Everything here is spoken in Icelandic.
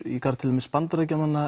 í garð til dæmis Bandaríkjanna